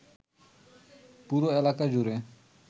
পুরো এলাকা জুড়ে